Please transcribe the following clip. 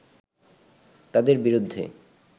তাঁদের বিরুদ্ধে